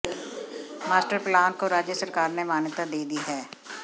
master plan को राज्य सरकार ने मान्यता दे दी है